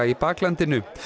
í baklandinu